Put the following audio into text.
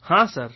ಹಾಂ ಸರ್